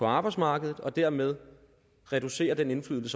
arbejdsmarkedet og dermed reducere den indflydelse